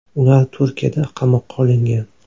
Ular Turkiyada qamoqqa olingan.